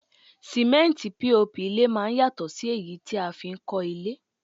Símẹ́ntì POP ilé máá ń yàtọ̀ sí èyí tí a fi n kọ́ ilé